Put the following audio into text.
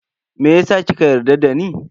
Meyasa kika yarda dani?